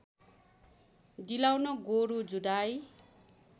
दिलाउन गोरु जुधाइ